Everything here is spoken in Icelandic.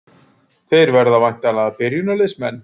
Þeir verða væntanlega byrjunarliðsmenn?